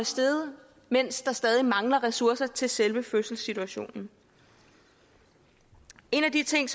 steget mens der stadig mangler ressourcer til selve fødselssituationen en af de ting